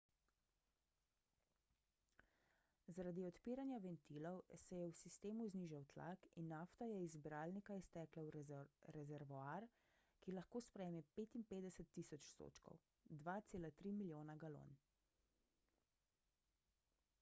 zaradi odpiranja ventilov se je v sistemu znižal tlak in nafta je iz zbiralnika iztekla v rezervoar ki lahko sprejme 55.000 sodčkov 2,3 milijona galon